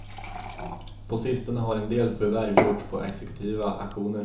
På sistone har en del förvärv gjorts på exekutiva auktioner.